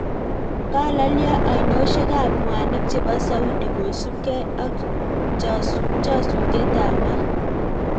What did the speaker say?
Kalalyoo ainosiek ap mwanik chepoo Saudi kosuup gei ak chasutiet ap maat